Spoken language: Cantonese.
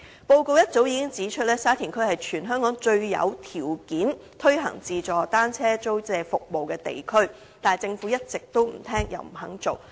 報告早已指出，沙田區是全香港最有條件推行自助單車租用服務的地區，但政府一直不聽又不肯做。